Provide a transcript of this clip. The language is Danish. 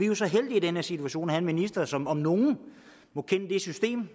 jo så heldige i den her situation at have en minister som om nogen må kende det system